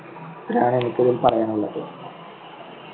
ഇതാണ് എനിക്ക് പറയാനുള്ളത്.